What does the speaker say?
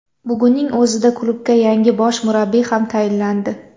Bugunning o‘zida klubga yangi bosh murabbiy ham tayinlandi.